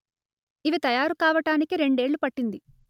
ఇవి తయారు కావటానికి రెండేళ్ళు పట్టింది